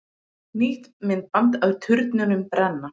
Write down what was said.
Nýtt myndband af turnunum brenna